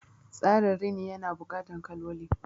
Tsarin Rini ya na buƙatan kaloli